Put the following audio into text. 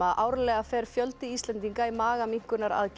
árlega fer fjöldi Íslendinga í